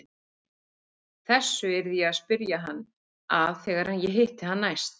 Þessu yrði ég að spyrja hann að þegar ég hitti hann næst.